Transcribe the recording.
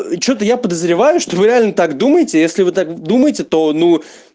и что-то я подозреваю что нвы реально так думаете если вы так думаете то ну